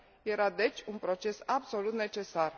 era, deci, un proces absolut necesar.